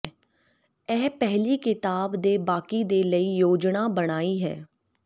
ਇਹ ਪਹਿਲੀ ਕਿਤਾਬ ਦੇ ਬਾਕੀ ਦੇ ਲਈ ਯੋਜਨਾ ਬਣਾਈ ਹੈ